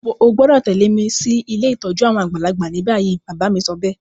O gbọ́dọ̀ tẹ̀lẹ́ mi si ilé ìtójú àwon àgbàlagbà ni bayi. Bàbá mi sobéè